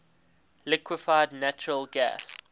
liquefied natural gas